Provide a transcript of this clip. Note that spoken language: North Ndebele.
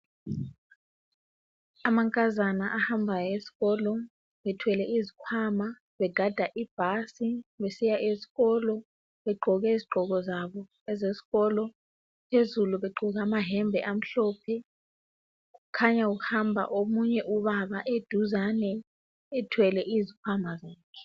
Amankazana ahamba esikolo ,ethwele izikhwama, begada ibhasi besiya eskolo, begqoke izigqoko zabo ezesikolo, phezulu begqoke amayembe amhlophe . Kukhanya kuhamba omunye ubaba eduzane ethwele izikhwama zakhe.